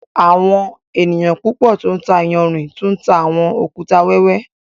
Àwọn ènìyàn púpọ̀ tó ńtà ìyànṛín tú ńtà awọn òkútà wẹwẹ.